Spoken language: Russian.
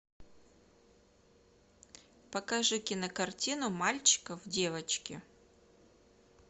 покажи кинокартину мальчика в девочке